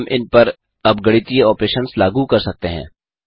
हम इनपर अब गणितीय ऑपरेशंस लागू कर सकते हैं